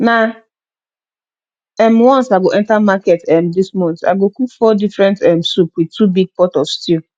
na um once i go enter market um dis month i go cook four different um soup with two big pot of stew